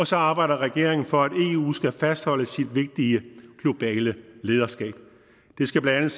så arbejder regeringen for at eu skal fastholde sit vigtige globale lederskab det skal blandt